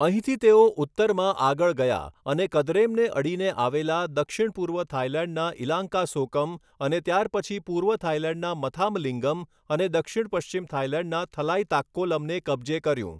અહીંથી તેઓ ઉત્તરમાં આગળ ગયા અને કદરેમને અડીને આવેલા દક્ષિણ પૂર્વ થાઈલેન્ડના ઈલાન્કાસોકમ અને ત્યારપછી પૂર્વ થાઈલેન્ડના મથામલિંગમ અને દક્ષિણ પશ્ચિમ થાઈલેન્ડના થલાઈતાક્કોલમને કબજે કર્યું.